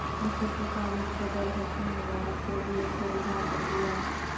مصر کے سابق صدر حسنی مبارک کو جیل سے رہا کردیا